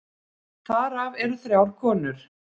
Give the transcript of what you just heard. Þar af þrjár konur.